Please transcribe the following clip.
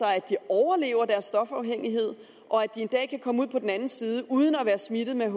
at de overlever deres stofafhængighed og en dag kan komme ud på den anden side uden at være smittet med